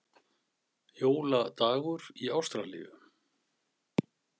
Jóladagur í Ástralíu!